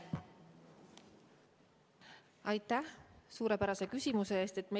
Aitäh suurepärase küsimuse eest!